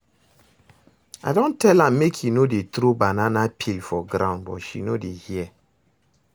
I don tell am make e no dey throw banana peel for ground but she no dey hear